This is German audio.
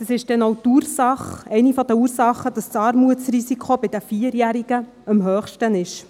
Dies ist die Ursache, eine der Ursachen, weshalb das Armutsrisiko bei den Vierjährigen am höchsten ist.